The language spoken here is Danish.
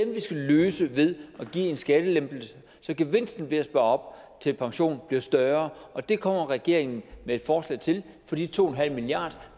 vi skal løse ved at give en skattelempelse så gevinsten ved at spare op til pension bliver større og det kommer regeringen med et forslag til for de to milliard